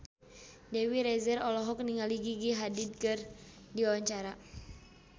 Dewi Rezer olohok ningali Gigi Hadid keur diwawancara